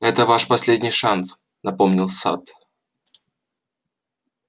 это ваш последний шанс напомнил ссатт